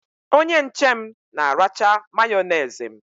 Onye nche m na-aracha Mayonezi m.